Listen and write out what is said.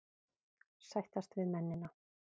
Sættast við mennina.